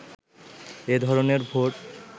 এ ধরনের ভোট